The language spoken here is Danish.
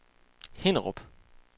Hinnerup